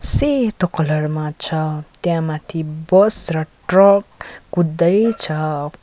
सेतो कलर मा छ त्यहाँ माथि बस र ट्रक कुद्दै छ।